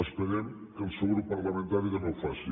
esperem que el seu grup parlamentari també ho faci